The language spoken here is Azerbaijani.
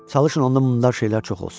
Çalışın onda murdar şeylər çox olsun.